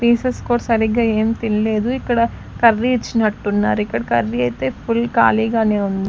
pieces కూడా సరిగ్గా ఏం తినలేదు ఇక్కడ కర్రీ ఇచ్చినట్టున్నారు ఇక్కడ కర్రీ అయితే ఫుల్ కాళీ గానే ఉం --